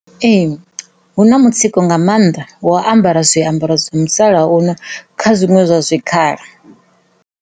Ee, hu na mutsiko nga mannḓa wo ambara zwiambaro zwa musalauno kha zwiṅwe zwa zwikhala.